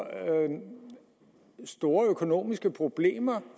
store økonomiske problemer